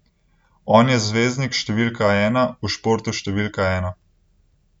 On je zvezdnik številka ena v športu številka ena.